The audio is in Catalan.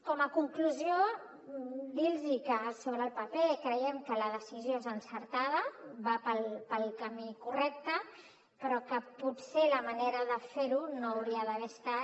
com a conclusió dir los que sobre el paper creiem que la decisió és encertada va pel camí correcte però que potser la manera de fer ho no hauria d’haver estat